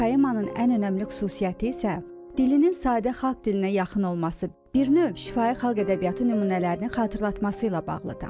Poemanın ən önəmli xüsusiyyəti isə dilinin sadə xalq dilinə yaxın olması, bir növ şifahi xalq ədəbiyyatı nümunələrini xatırlatması ilə bağlıdır.